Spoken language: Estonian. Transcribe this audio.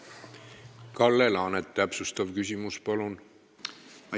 Kalle Laanet, täpsustav küsimus, palun!